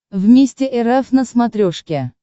вместе эр эф на смотрешке